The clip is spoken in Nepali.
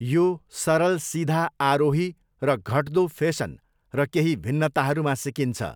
यो सरल सिधा आरोही र घट्दो फेसन र केही भिन्नताहरूमा सिकिन्छ।